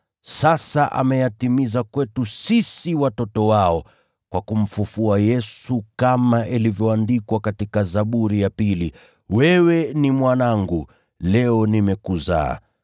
sasa ameyatimiza kwetu sisi watoto wao, kwa kumfufua Yesu, kama ilivyoandikwa katika Zaburi ya pili: “ ‘Wewe ni Mwanangu; leo mimi nimekuzaa.’